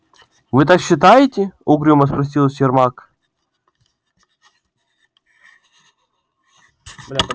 вы так считаете угрюмо спросил сермак